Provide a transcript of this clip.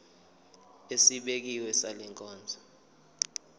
esibekiwe sale nkonzo